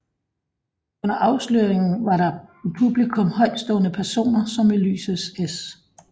Under afsløringen var der i publikum højtstående personer som Ulysses S